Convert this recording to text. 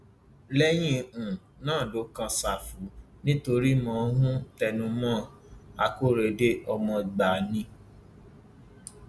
lẹyìn um náà ló kan ṣáfù nítorí mò ń um tẹnu mọ ọn akóredé ọmọ gbáà ni